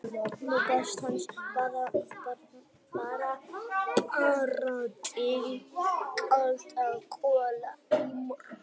Nú, báturinn hans Bárðar brann bara til kaldra kola í morgun.